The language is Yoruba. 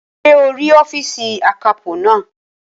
Ṣé o rí ọ́fììsì akápò naa?